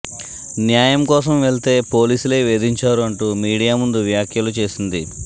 న్యాయం కోసం వెళ్తే పోలీసులే వేధించారు అంటూ మీడియా ముందు వ్యాఖ్యలు చేసింది